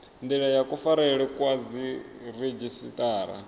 ndila ya kufarelwe kwa dziredzhisiṱara